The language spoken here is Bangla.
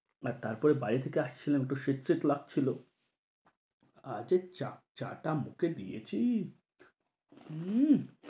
আর তারপরে বাইরে থেকে আসছিলাম। একটু শীত শীত লাগছিল আর যে চা চা টা মুখে দিয়েছি উম